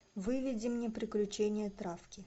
выведи мне приключения травки